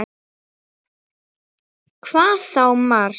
Hvað þá Mars!